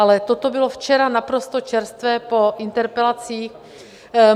Ale toto bylo včera naprosto čerstvé po interpelacích.